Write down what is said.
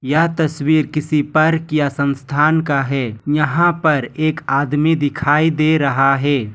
यह तस्वीर किसी पार्क या संस्थान का है यहां पर एक आदमी दिखाई दे रहा है।